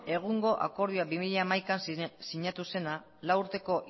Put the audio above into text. egungo akordioa bi mila hamabian sinatu zena lau urteko